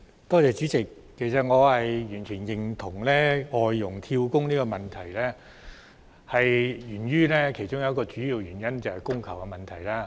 代理主席，其實我完全認同造成外傭"跳工"的其中一個主要原因，是供求失衡。